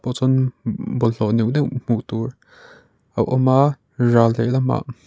pawh chuan bawlhhlawh neuh neuh hmuh tur a awm a ral lehlam ah--